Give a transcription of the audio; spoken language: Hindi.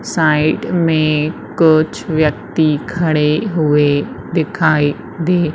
साइड में कुछ व्यक्ति खड़े हुए दिखाई दे--